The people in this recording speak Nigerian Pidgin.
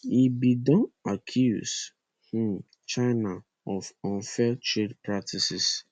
e bin don accuse um china of unfair trade practices